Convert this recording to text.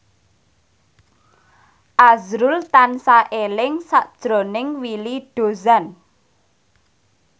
azrul tansah eling sakjroning Willy Dozan